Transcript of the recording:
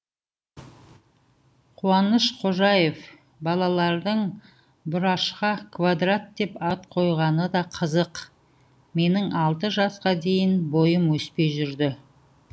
қуаныш қожаев балалардың бұрашқа квадрат деп ат қойғаны да қызық менің алты жасқа дейін бойым өспей жүрді